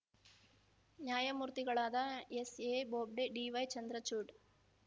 ನ್ಯಾಯಮೂರ್ತಿಗಳಾದ S A Bobde D Y Chandrachud